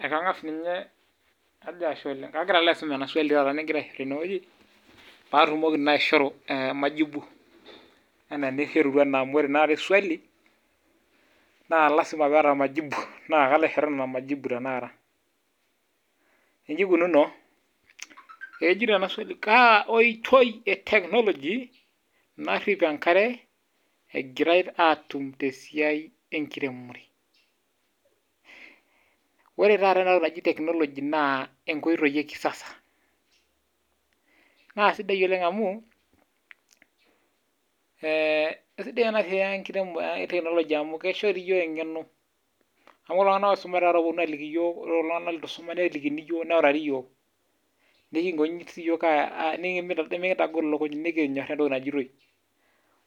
Ekangas ninye, kajo Ashe oleng. Kagira alo aisum ena swali taata nigira aiger tene wuei paatumoki naa aishoru majibu. Enaa enijorutua amu, ore naadi swali naa, lasima pee eeta majibu naa kalo aishoru nena majibu tenakata. Iji ikununo kejito ena swali, kaa oitoi eteknologi narip enkare egirae atum tesiai ekiremore. Ore taata ena toki naaji teknologi naa, inkoitoi eh ekisasa. Naa sidai oleng amu, eh isidai ena siai ekiremore eteknologi amu, keishori iyiok engeno neaku kulo tunganak oisumita ooponu aliki iyiok ore kulo tunganak leitu eisuma nelikini iyiok neutari iyiok. Nikingoji siiyiok nimikitagol ilukuny nikinyoraa etoki naajitoi.